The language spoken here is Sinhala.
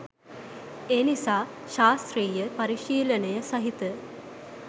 එනිසා ශාස්ත්‍රීය පරිශීලනය සහිත